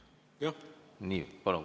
Palun!